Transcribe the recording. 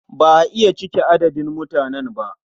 Ba a iya cike adadin mutanen ba.